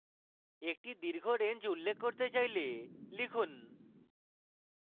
একটি দীর্ঘ range উল্লেখ করতে চাইলে লিখুন: